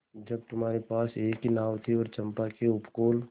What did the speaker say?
जब तुम्हारे पास एक ही नाव थी और चंपा के उपकूल